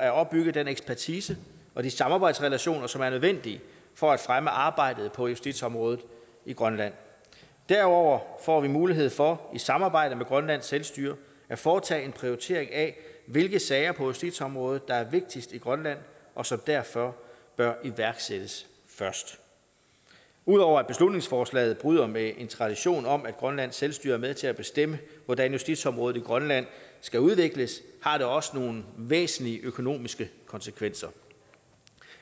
at opbygge den ekspertise og de samarbejdsrelationer som er nødvendige for at fremme arbejdet på justitsområdet i grønland derudover får vi mulighed for i samarbejde med grønlands selvstyre at foretage en prioritering af hvilke sager på justitsområdet der er vigtigst i grønland og som derfor bør iværksættes først ud over at beslutningsforslaget bryder med en tradition om at grønlands selvstyre er med til at bestemme hvordan justitsområdet i grønland skal udvikles har det også nogle væsentlige økonomiske konsekvenser